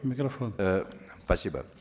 микрофон э спасибо